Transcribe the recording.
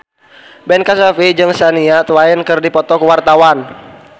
Ben Kasyafani jeung Shania Twain keur dipoto ku wartawan